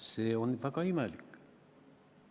See on väga imelik.